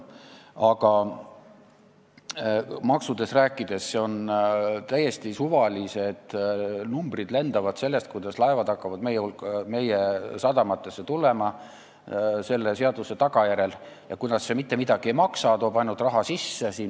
Mis maksudesse puutub, siis lendavad täiesti suvalised numbrid selle kohta, kuidas laevad hakkavad meie sadamatesse tulema tänu sellele seadusele ja kuidas see mitte midagi ei maksa, toob ainult raha sisse.